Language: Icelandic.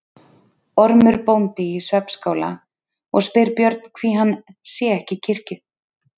Ormur bóndi í svefnskála og spyr Björn hví hann sé ekki í kirkju.